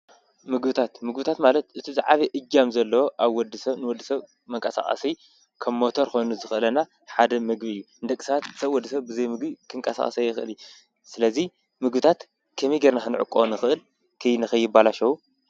ምግብታት ምግብታት ማለት እቲ ዝዓበየ እጃም ዘለዎ ኣብ ወዲሰብ መቀሳቀሲ ከም ሞተር ኮይኑ ዘገልግለና ሓደ ምግቢ እዩ፡፡ ንደቂሰባት ሰብ ወዲሰብ ብዘይምግቢ ክንቀሳቀስ ኣይክእልን፣ ስለዚ ምግብታት ከመይ ጌርካ ክንዕቅቦ ንክእል ንከይበላሸው?